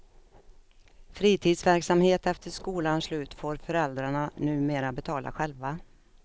Fritidsverksamhet efter skolans slut får föräldrarna numera betala själva.